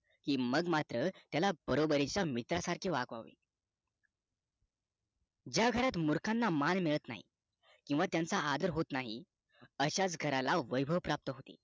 कि मग मात्र त्याला बरोबरीच्या मित्रा सारखे वागवावे ज्या घरात मुर्खांना मान मिळत नाही किंवा त्यांचा आदर होत नाही अशाच घराना वैभव प्राप्त होते